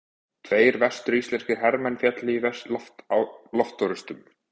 Tveir vestur-íslenskir hermenn féllu í loftorrustum.